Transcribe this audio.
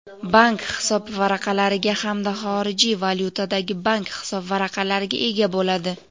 bank hisobvaraqlariga hamda xorijiy valyutadagi bank hisobvaraqlariga ega bo‘ladi.